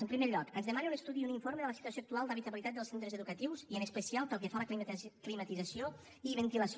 en primer lloc ens demana un estudi i un informe de la situació actual d’habitabilitat dels centres educatius i en especial pel que fa a la climatització i ventilació